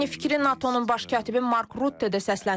Eyni fikri NATO-nun Baş katibi Mark Rutte də səsləndirib.